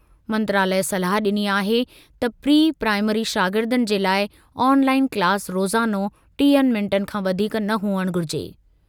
मंत्रालय सलाह ॾिनी आहे त प्री प्राइमरी शागिर्दनि जे लाइ ऑनलाइन क्लास रोज़ानो टीह मिंटनि खां वधीक न हुअणु घुरिजे।